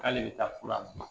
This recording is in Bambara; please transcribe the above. K'ale bɛ taa furu a ma